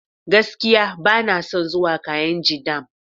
Gaskiya! Bana son zuwa kainji dam.